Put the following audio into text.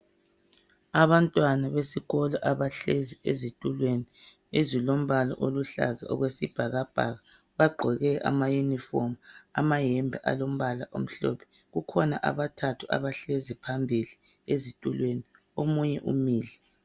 Abantwana besikolo abahlezi ezituleni ezilombala oluhlaza okwesibhakabhaka. Bagqoke amayunifomu, amayembe alombala omhlophe kukhona abathathu abahlezi phambili ezitulweni omunye umile.